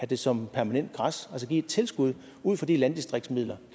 det som permanent græs altså give et tilskud ud fra de landdistriktsmidler